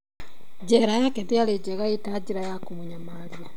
Njera yake ndĩarĩ njega ita njĩra ya kũmũnyamaria